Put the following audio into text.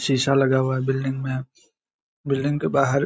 शीशा लगा हुआ बिल्डिंग में बिल्डिंग के बाहर --